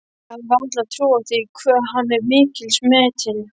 Ég hefði varla trúað því hve hann er mikils metinn.